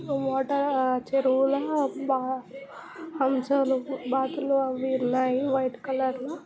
water చెరువుల హంసలు బాతులు అవి ఉన్నాయి వైట్ కలర్--